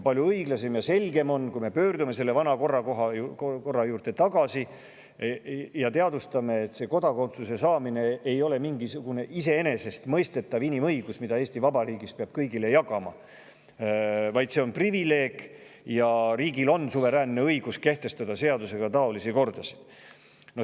Palju õiglasem ja selgem oleks, kui me pöörduksime vana korra juurde tagasi ja teadvustaksime, et kodakondsuse saamine ei ole mingisugune iseenesestmõistetav inimõigus, seda ei pea Eesti Vabariigis kõigile jagama, vaid see on privileeg ja riigil on suveräänne õigus kehtestada taolisi kordasid seadusega.